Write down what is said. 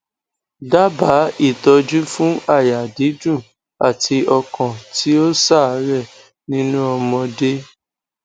daba itoju fun aya didun ati okan ti o sare ninu omode